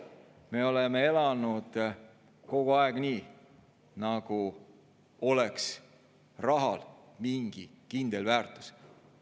Me oleme elanud kogu aeg nii, nagu oleks rahal mingi kindel väärtus.